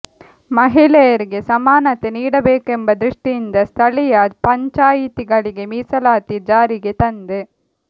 ಮಹಿಳೆಯರಿಗೆ ಸಮಾನತೆ ನೀಡಬೇಕೆಂಬ ದೃಷ್ಟಿಯಿಂದ ಸ್ಥಳೀಯ ಪಂಚಾಯಿತಿಗಳಿಗೆ ಮೀಸಲಾತಿ ಜಾರಿಗೆ ತಂದೆ